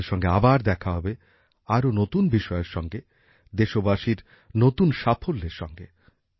আপনাদের সঙ্গে আবার দেখা হবে আরো নতুন বিষয়ের সঙ্গে দেশবাসীর নতুন সাফল্যের সঙ্গে